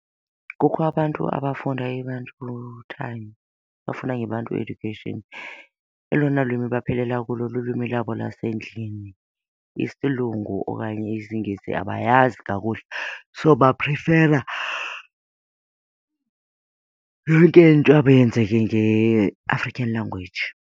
Kukho abantu abafunda , abafunda ngeBantu Education. Elona lwimi baphelela kulo lulwimi lwabo lasendlini, isilungu okanye isiNgesi abayazi kakuhle so baprifera yonke into yabo yenzeke ngeAfrican language.